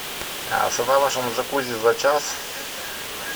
цена в вашем джакузи за час